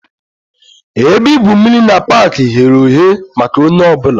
Ebe igwu mmiri na pak ghere oghe maka onye ọ bụla